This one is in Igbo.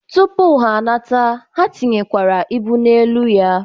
Tụpụ ha anata, ha tinyekwere ibu n'elu ya.